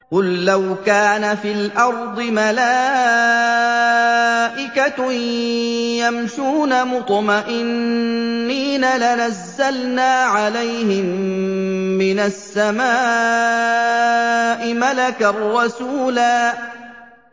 قُل لَّوْ كَانَ فِي الْأَرْضِ مَلَائِكَةٌ يَمْشُونَ مُطْمَئِنِّينَ لَنَزَّلْنَا عَلَيْهِم مِّنَ السَّمَاءِ مَلَكًا رَّسُولًا